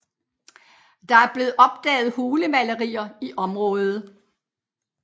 Der er blevet opdaget hulemalerier i området